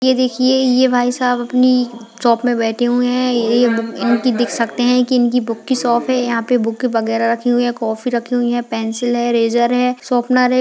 ये देखिए ये भाईसाहब अपनी शॉप में बैठे हुए है ये बु इनकी देख सकते है की इनकी बुक की शॉप है यहाँ पे बुक वैगरह रखी हुई है कॉपी रखी हुई है पेंसिल है इरेज़र है शॉपनर है।